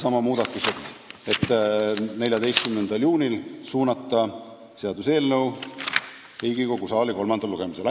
Aitäh!